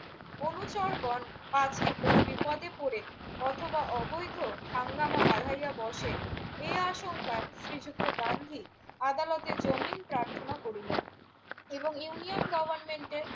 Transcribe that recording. অনুচরগণ park কোনো বিপদে পড়ে অথবা অবৈধ হাঙ্গামা বাড়াইয়া বসে এ আশঙ্কায় শ্রীযুক্ত গান্ধী আদালতে জামিন প্রার্থনা করিলেন এবং ইউনিয়ন গভর্নমেন্টের